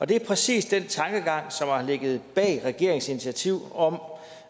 det er præcis den tankegang som har ligget bag regeringens initiativ om